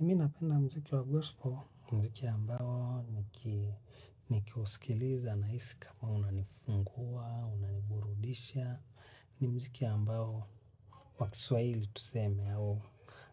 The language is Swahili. Mimi napenda mziki wa gospel, mziki ambao nikiuskiliza nahisi kama unanifungua, unaniburudisha, ni muziki ambao kwa kiswahili tuseme au,